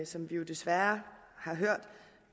som vi jo desværre har hørt